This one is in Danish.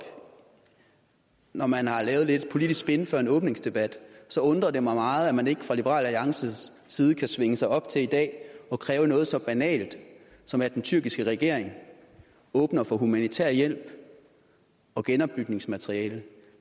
når man har lavet lidt politisk spin før en åbningsdebat så undrer det mig meget at man ikke fra liberal alliances side kan svinge sig op til i dag at kræve noget så banalt som at den tyrkiske regering åbner for humanitær hjælp og genopbygningsmateriale